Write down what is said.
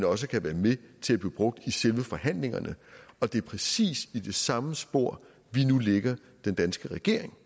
også kan være med til at blive brugt i selve forhandlingerne og det er præcis i det samme spor den danske regering